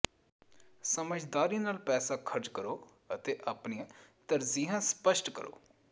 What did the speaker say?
ਸਮਝਦਾਰੀ ਨਾਲ ਪੈਸਾ ਖਰਚ ਕਰੋ ਅਤੇ ਆਪਣੀਆਂ ਤਰਜੀਹਾਂ ਸਪਸ਼ਟ ਕਰੋ